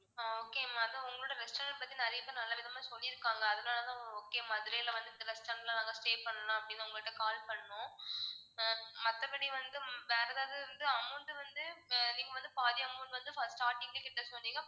ஆஹ் okay ma'am அதான் உங்களோட restaurant பத்தி நிறைய பேர் நல்ல விதமா சொல்லியிருக்காங்க. அதனாலதான் okay மதுரைல வந்து இந்த restaurant ல நாங்க stay பண்ணலாம் அப்படின்னு உங்ககிட்ட call பண்ணோம். அஹ் மத்தபடி வந்து வேற ஏதாவது வந்து amount வந்து நீங்க வந்து பாதி amount வந்து first starting லயே கட்ட சொன்னீங்க.